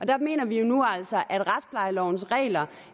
der mener vi jo altså at retsplejelovens regler